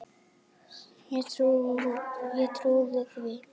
Ég trúði því.